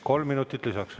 Kolm minutit lisaks.